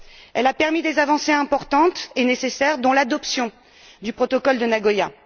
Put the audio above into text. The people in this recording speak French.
Elle a permis des avancées importances et nécessaires, dont l'adoption du protocole de Nagoya.